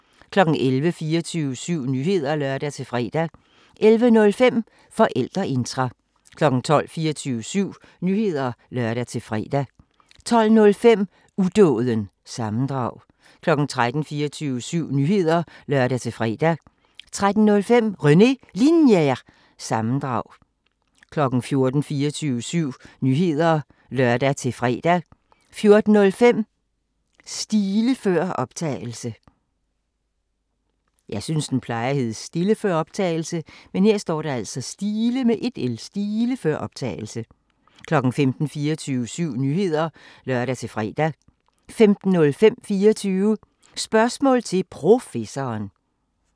11:00: 24syv Nyheder (lør-fre) 11:05: Forældreintra 12:00: 24syv Nyheder (lør-fre) 12:05: Udåden – sammendrag 13:00: 24syv Nyheder (lør-fre) 13:05: René Linjer- sammendrag 14:00: 24syv Nyheder (lør-fre) 14:05: Stile før optagelse 15:00: 24syv Nyheder (lør-fre) 15:05: 24 Spørgsmål til Professoren